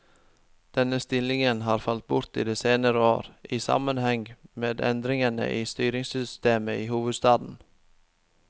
Denne stillingen har falt bort i de senere år, i sammenheng med endringene i styringssystemet i hovedstaden.